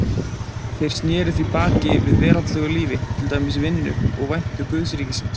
Þeir sneru því baki við veraldlegu lífi, til dæmis vinnu, og væntu guðsríkisins.